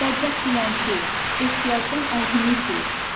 Bədbəxt dilənçi, ehtiyacdan ağlını itirib.